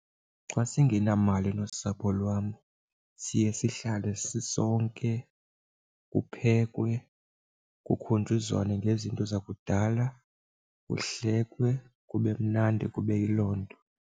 Xa singenamali nosapho lwam siye sihlale sisonke kuphekwe, kukukhunjuzwane ngezinto zakudala, kuhlekwe kube mnandi kube yiloo nto.